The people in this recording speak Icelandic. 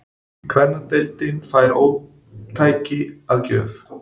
Kvennadeildin fær ómtæki að gjöf